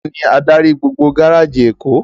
Táni ádári gbógbó gáráji Ékó?